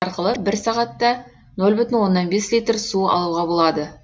арқылы бір сағатта нөл бүтін оннан бес литр су алуға болады